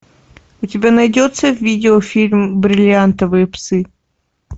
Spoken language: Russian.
у тебя найдется видеофильм бриллиантовые псы